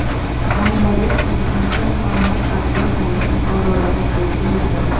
Bangladesh prezidenti Muhammad Abdul Hamid Buxoroga tashrif buyurdi .